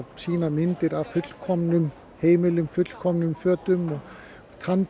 sýna myndir af fullkomnum heimilum fullkomnum fötum og